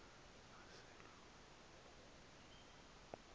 nesedlulube